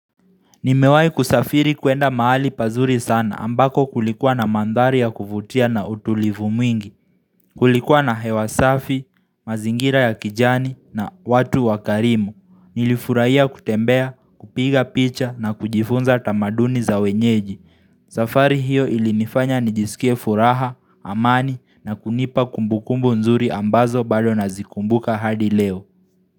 Nimewai kusafiri kuenda maali pazuri sana ambako kulikuwa na mandhari ya kuvutia na utulivu mwingi Kulikuwa na hewa safi, mazingira ya kijani na watu wakarimu Nilifuraiya kutembea, kupiga picha na kujifunza tamaduni za wenyeji safari hiyo ilinifanya nijisikie furaha, amani na kunipa kumbukumbu nzuri ambazo bado nazikumbuka hadi leo.